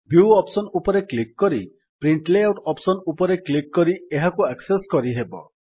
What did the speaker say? view option ଉପରେ click କରି print layout option ଉପରେ କ୍ଲିକ୍ କରି ଏହାକୁ ଆକ୍ସେସ୍ କରିହେବ